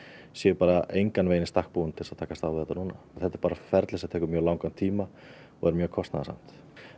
séu bara engan veginn í stakk búin til þess að takast á við þetta núna þetta er bara ferli sem tekur mjög langan tíma og mjög kostnaðarsamt